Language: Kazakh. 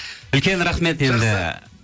үлкен рахмет енді